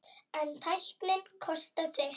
En tæknin kostar sitt.